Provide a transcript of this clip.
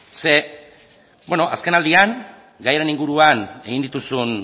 zeren azken aldian gai honen inguruan egin dituzun